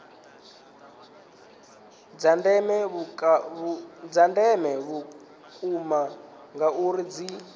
dza ndeme vhukuma ngauri dzi